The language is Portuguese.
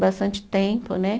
Bastante tempo, né?